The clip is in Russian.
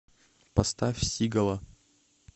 поставь сигала